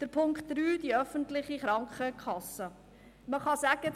Zu Punkt 3, die öffentliche Krankenkasse: Man kann sagen: